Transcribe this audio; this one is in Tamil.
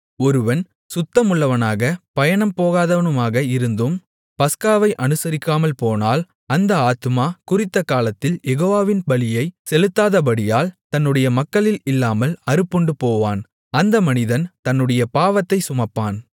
ஒருவன் சுத்தமுள்ளவனுமாகப் பயணம் போகாதவனுமாக இருந்தும் பஸ்காவை அனுசரிக்காமல் போனால் அந்த ஆத்துமா குறித்த காலத்தில் யெகோவாவின் பலியைச் செலுத்தாதபடியால் தன்னுடைய மக்களில் இல்லாமல் அறுப்புண்டுபோவான் அந்த மனிதன் தன்னுடைய பாவத்தைச் சுமப்பான்